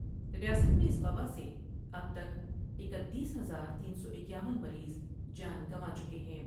ریاست میں اس وباء سے اب تک اکتیس ہزار تین سو اکیاون مریض جان گنوا چکے ہیں ۔